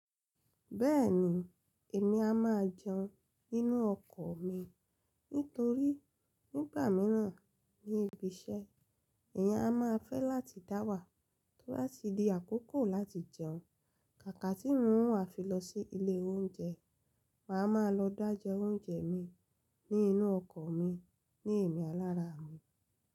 Bẹ́ẹ̀ni, èmi a máa jẹun nínú ọkọ̀ mi nítorí nígbà míràn ní ibi iṣẹ́, èèyàn a máa fẹ́ láti dá wà tó bá ti di àkókò láti jẹun. Kàkà tí un o wà fi lọ sí ilé oúnjẹ, mà á máa lọ dá jẹ oúnjẹ mi nínú ọkọ̀ mi ní èmí alára mi.